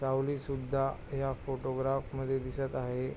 सावली सुद्धा ह्या फोटोग्राफ मध्ये दिसत आहे.